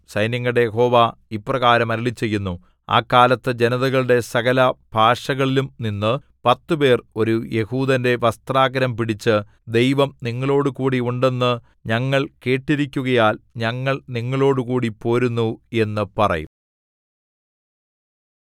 സൈന്യങ്ങളുടെ യഹോവ ഇപ്രകാരം അരുളിച്ചെയ്യുന്നു ആ കാലത്ത് ജനതകളുടെ സകലഭാഷകളിലുംനിന്ന് പത്തുപേർ ഒരു യെഹൂദന്റെ വസ്ത്രാഗ്രം പിടിച്ചു ദൈവം നിങ്ങളോടുകൂടി ഉണ്ടെന്ന് ഞങ്ങൾ കേട്ടിരിക്കുകയാൽ ഞങ്ങൾ നിങ്ങളോടുകൂടി പോരുന്നു എന്നു പറയും